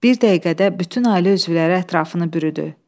Bir dəqiqədə bütün ailə üzvləri ətrafını bürüdü.